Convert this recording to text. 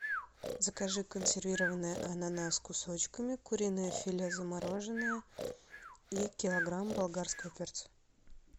закажи консервированный ананас кусочками куриное филе замороженное и килограмм болгарского перца